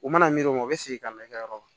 U mana miiri o ma u bɛ segin ka na i ka yɔrɔ la